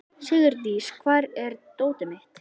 Sigurdís, hvar er dótið mitt?